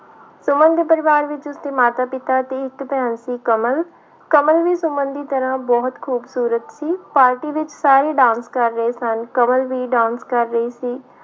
ਸੁਮਨ ਦੇ ਪਰਿਵਾਰ ਵਿੱਚ ਉਸਦੇ ਮਾਤਾ ਪਿਤਾ ਤੇ ਇੱਕ ਭੈਣ ਸੀ ਕਮਲ, ਕਮਲ ਵੀ ਸੁਮਨ ਦੀ ਤਰ੍ਹਾਂ ਬਹੁਤ ਖ਼ੂਬਸੂਰਤ ਸੀ ਪਾਰਟੀ ਵਿੱਚ ਸਾਰੇ dance ਕਰ ਰਹੇ ਸਨ, ਕਮਲ ਵੀ dance ਕਰ ਰਹੀ ਸੀ।